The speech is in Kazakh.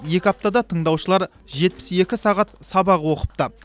екі аптада тыңдаушылар жетпіс екі сағат сабақ оқыпты